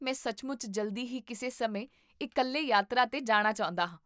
ਮੈਂ ਸੱਚਮੁੱਚ ਜਲਦੀ ਹੀ ਕਿਸੇ ਸਮੇਂ ਇਕੱਲੇ ਯਾਤਰਾ 'ਤੇ ਜਾਣਾ ਚਾਹੁੰਦਾ ਹਾਂ